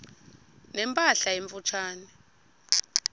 ne mpahla emfutshane